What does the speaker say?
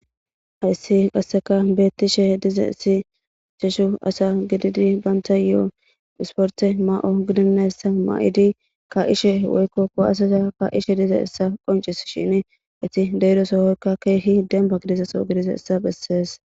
Hayssi qasseka bettishe diza issi accheshu asa gididi baynta yo'o dhisporte ma'o gidinayssa ma'idi ka ishe woykko kowasaza ka ishe diza essa qoncis shin iti deydosohoykka keehi demba gidizaso gidiza essa bessees.